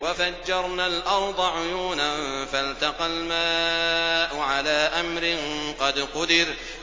وَفَجَّرْنَا الْأَرْضَ عُيُونًا فَالْتَقَى الْمَاءُ عَلَىٰ أَمْرٍ قَدْ قُدِرَ